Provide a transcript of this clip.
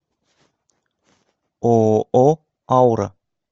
ооо аура